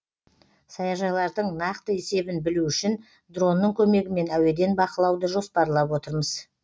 саяжайлардың нақты есебін білу үшін дронның көмегімен әуеден бақылауды жоспарлап отырмыз